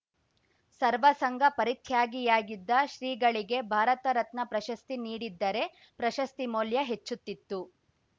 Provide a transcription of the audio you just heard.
ಸರ್ವ ಸಂಘ ಪರಿತ್ಯಾಗಿಯಾಗಿದ್ದ ಶ್ರೀಗಳಿಗೆ ಭಾರತ ರತ್ನ ಪ್ರಶಸ್ತಿ ನೀಡಿದ್ದರೆ ಪ್ರಶಸ್ತಿ ಮೌಲ್ಯ ಹೆಚ್ಚುತ್ತಿತ್ತು